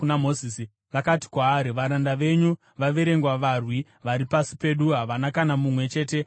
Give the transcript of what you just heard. vakati kwaari, “Varanda venyu vaverenga varwi vari pasi pedu, hapana kana mumwe chete asipo.